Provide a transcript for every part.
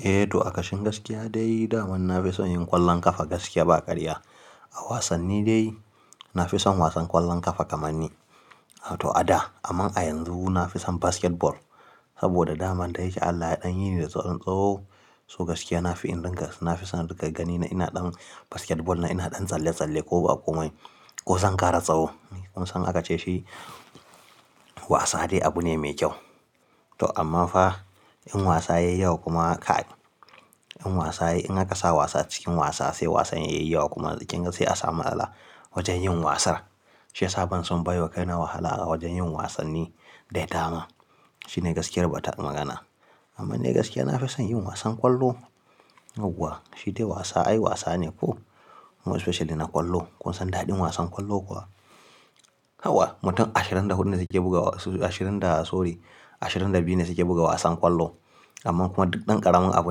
Eh, to a kashin gaskiya dai dama na fi son yin ƙwallon ƙafa gaskiya ba ƙarya. A wasanni dai na fi son wasan ƙwallon ƙafa kamar ni. To a da amma a yanzu na fi son basketball saboda dama dai yake Allah ya ɗan yini da dan tsawo. So gaskiya na fi son in ringa gani na ina ɗan basketball, na ina ɗan tsalle-tsalle ko ba komai ko zan ƙara tsaho. Kun san aka ce shi wasa dai abu ne mai kyau. To amma fa in wasa yayi yawa kuma in wasa in aka sa wasa cikin wasa sai wasan yayi yawa kuma kinga sai a samu matala wajen yin wasa Shi ya sa ban son baiwa kai na wahala a wajen yin wasanni dai dama. Shi ne gaskiyar bata magana. Amma dai gaskiya na fi son yin wasan ƙwallo. Yauwa shi dai wasa, ai wasa ne ko. Kuma especially na ƙwallo. Kun san daɗin wasan ƙwallo kuwa. Hawa mutum ashirin da hudu ne suke buga ashirin da sorry ashirin da biyu ne suke buga wasan ƙwallo. Amma kuma duk ɗan ƙaramin abu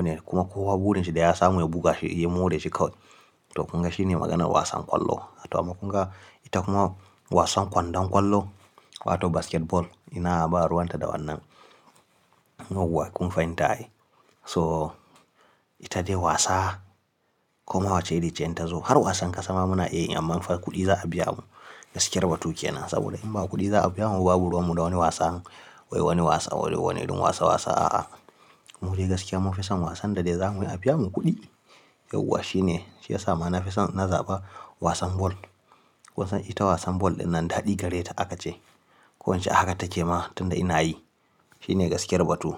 ne kuma kowa burin shi da ya samu ya buga shi ya moreshi kawai. To kunga shi ne maganan wasan ƙwallo. To amma kunga ita kuma wasan kwandon ƙwallo wato basketball. Ina ba ruwan ta da wannan. Yauwa kun fahimta ai. So ita dai wasa kuma wacce iri ce inta zo. Har wasan ƙasa ma muna iyayi amma fa kuɗi za a biya mu. Gaskiyar batu kenan saboda in ba kuɗi za a biya mu ba babu ruwan mu da wani wasan. Wai wani wasa wani wurin wasa wasa a'a. Mu dai gaskiya mun fi son wasan da dai za mu yi a biya mu kuɗi. Yauwa shi ne shi ya sa ma na fi son na zaɓa wasan ball. Kun san ita wasan ball dinnan daɗi gare ta aka ce. Ko ince haka take ma tunda ina yi. Shi ne gaskiyar batu.